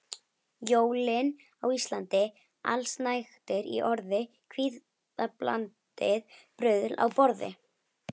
Jólin á Íslandi: Allsnægtir í orði, kvíðablandið bruðl á borði.